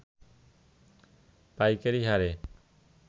পাইকারি হারে